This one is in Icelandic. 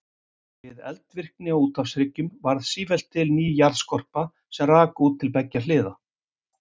Við eldvirkni á úthafshryggnum varð sífellt til ný jarðskorpa sem rak út til beggja hliða.